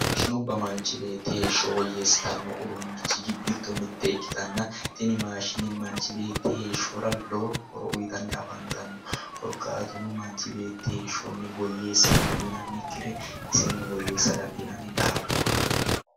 Maashinubba manchi beeti heesho woyeesitano uduunchi gido mite ikkitanna, tini maashine manich beeti heeshora lowo horo uyitanni afannitano korkkatuno manchi beeti heeshoni woyeesa dandiinannikire isseni woyeesa dandiinanni daaffo